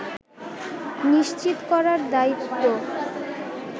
নিশ্চিত করার দায়িত্ব